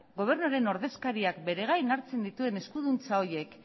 gobernuaren ordezkariak bere gain hartzen dituen eskuduntza horiek